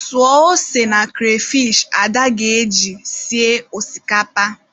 Suo ose na kreyfish Ada ga-eji sie osikapa.